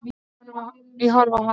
Ég horfi á hana.